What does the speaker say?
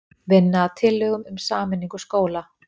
Vinna að tillögum um sameiningu skóla